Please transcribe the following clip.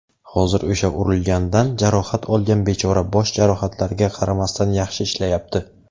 Hozir o‘sha urilgandan jarohat olgan bechora bosh jarohatlarga qaramasdan yaxshi ishlayapti.